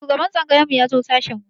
Shugaban tsangayar mu ya zo sashin mu.